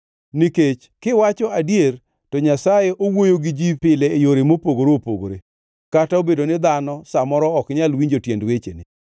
Nikech, kiwacho adier, to Nyasaye owuoyo gi ji pile e yore mopogore opogore, kata obedo ni dhano sa moro ok nyal winjo tiend wechene.